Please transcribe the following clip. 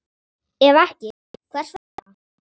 Ef ekki, hvers vegna?